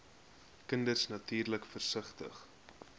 kinders natuurlik versigtig